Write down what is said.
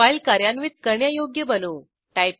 file कार्यान्वित करण्यायोग्य बनवू